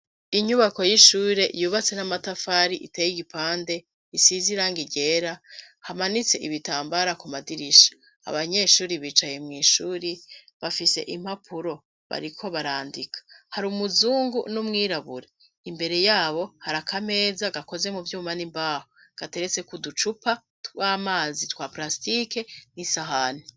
Inyubako y'ishure yubatse n'amatafari iteye igipande isize irangi ryera hamanitse ibitambara ku madirisha abanyeshuri bicaye mwishuri bafise impapuro bariko barandika hari umuzungu n'umwirabure imbere yabo hari akameza gakoze mu vyuma n'imbaho gateretse kuducupa twamazi twa parasitike n'isahani.